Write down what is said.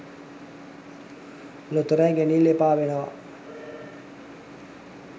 ලොතරැයි ගැනිල්ල එපා වෙනවා